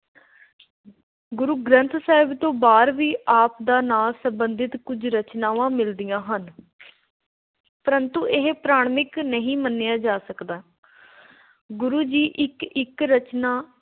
ਗੁਰੂ ਗ੍ਰੰਥ ਸਾਹਿਬ ਤੋਂ ਬਾਹਰ ਵੀ ਆਪ ਦਾ ਨਾਂ ਸੰਬੰਧਿਤ ਕੁੱਝ ਰਚਨਾਵਾਂ ਮਿਲਦੀਆਂ ਹਨ, ਪਰੰਤੂ ਇਹ ਪ੍ਰਮਾਣਿਕ ਨਹੀਂ ਮੰਨੀਆਂ ਜਾ ਸਕਦਾ। ਗੁਰੂ ਜੀ ਇੱਕ ਇੱਕ ਰਚਨਾ